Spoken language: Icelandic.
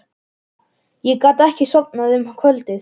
Ég gat ekki sofnað um kvöldið.